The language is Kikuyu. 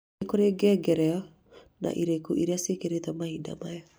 nĩ kũrĩ ngengereo na ĩrĩkũ iria ciĩkĩrĩtwo mahinda maya